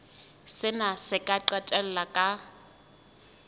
sena se ka qetella ka